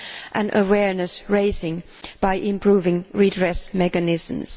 and awareness raising by improving redress mechanisms.